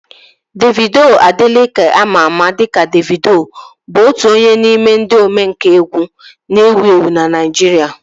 Davido Adeleke ama ama dịka Davido bụ otu onye n'ime ndị omenkà egwu na-ewu ewu na Naijiria